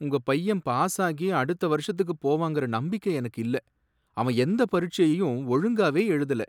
உங்க பையன் பாஸ் ஆகி அடுத்த வருஷத்துக்கு போவாங்கற நம்பிக்கை எனக்கு இல்ல, அவன் எந்த பரீட்சையையும் ஒழுங்காவே எழுதல.